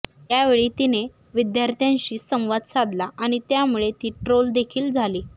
यावेळी तिने विद्यार्थ्यांशी संवाद साधला आणि त्यामुळे ती ट्रोल देखील झाली